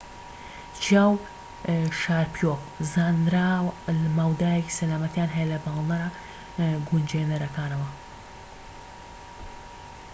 چیاو و شاریپۆڤ زانرا مەودایەکی سەلامەتیان هەیە لە پاڵنەرە گونجێنرەکانەوە